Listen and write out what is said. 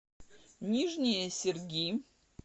нижние серги